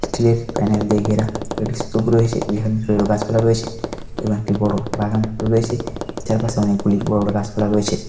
স্টিলের প্যানেল দিয়ে ঘেরা। একটি স্তুপ রয়েছে যেখানে বড় বড় গাছপালা রয়েছে। এবং একটি বড়ো বাগান রয়েছে চারপাশে অনেকগুলি বড়ো বড়ো গাছপালা রয়েছে।